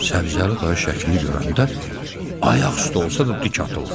Səbzəli dayı şəkli görəndə ayaq üstə olsa da dik atıldı.